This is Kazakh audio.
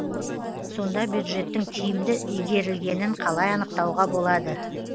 сонда бюджеттің тиімді игерілгенін қалай анықтауға болады